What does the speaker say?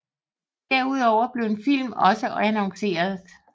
Derudover blev en film også annonceret